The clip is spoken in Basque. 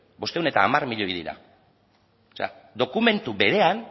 bostehun eta hamar milioi dira o sea dokumentu berean